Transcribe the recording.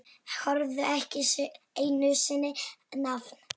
Höfðu ekki einu sinni nafn.